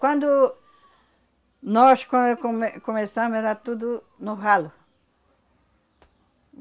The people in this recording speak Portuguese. Quando nós come come começamos, era tudo no ralo.